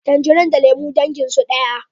Tanjari da lemu dangin su daya